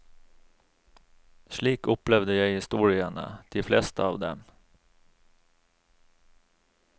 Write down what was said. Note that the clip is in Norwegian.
Slik opplevde jeg historiene, de fleste av dem.